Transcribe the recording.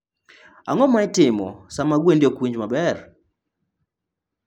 Ang'o ma itimo sama gwendi ok winj maber?